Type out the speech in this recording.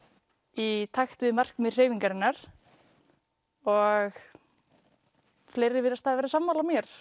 í takt við markmið hreyfingarinnar og fleiri virðast vera sammála mér